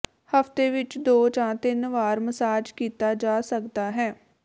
ਹਫਤੇ ਵਿੱਚ ਦੋ ਜਾਂ ਤਿੰਨ ਵਾਰ ਮਸਾਜ ਕੀਤਾ ਜਾ ਸਕਦਾ ਹੈ